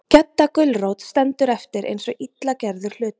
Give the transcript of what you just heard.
Gedda gulrót stendur eftir eins og illa gerður hlutur.